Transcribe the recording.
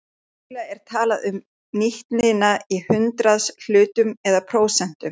Venjulega er talað um nýtnina í hundraðshlutum eða prósentum.